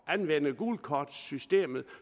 anvende gult kort systemet